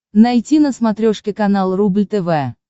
найти на смотрешке канал рубль тв